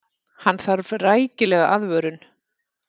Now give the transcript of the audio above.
Hann þarf rækilega aðvörun.